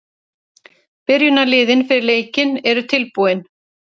Byrjunarliðin fyrir leikinn eru tilbúin.